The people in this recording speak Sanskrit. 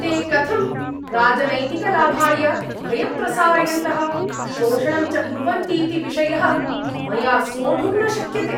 ते कथं राजनैतिकलाभाय भयं प्रसारयन्तः, शोषणं च कुर्वन्तीति विषयः मया सोढुं न शक्यते ।